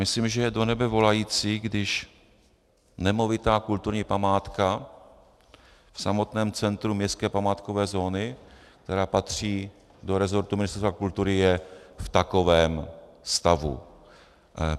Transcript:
Myslím, že je do nebe volající, když nemovitá kulturní památka v samotném centru městské památkové zóny, která patří do resortu Ministerstva kultury, je v takovém stavu.